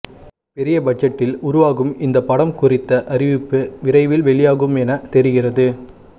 பெரிய பட்ஜெட்டில் உருவாகும் இந்த படம் குறித்த அறிவிப்பு விரைவில் வெளியாகும் என தெரிகிறது